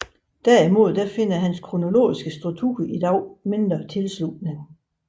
Derimod finder hans kronologiske struktur i dag mindre tilslutning